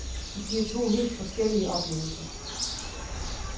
Det giver to helt forskellige oplevelser.